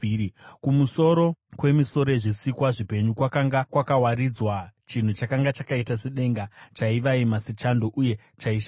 Kumusoro kwemisoro yezvisikwa zvipenyu kwakanga kwakawaridzwa chinhu chakanga chakaita sedenga, chaivaima sechando uye chaishamisa.